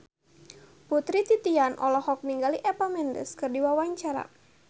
Putri Titian olohok ningali Eva Mendes keur diwawancara